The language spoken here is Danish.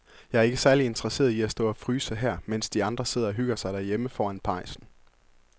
Jeg er ikke særlig interesseret i at stå og fryse her, mens de andre sidder og hygger sig derhjemme foran pejsen.